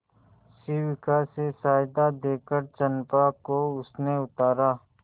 शिविका से सहायता देकर चंपा को उसने उतारा